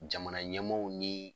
Jamana ɲɛmaaw ni